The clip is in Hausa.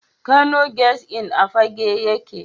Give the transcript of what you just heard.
Kano Guest Inn a Fagge yake.